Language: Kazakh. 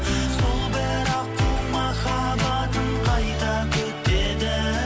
сол бір аққу махаббатын қайта күтеді